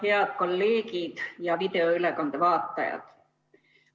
Head kolleegid ja videoülekande vaatajad!